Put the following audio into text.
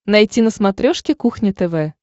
найти на смотрешке кухня тв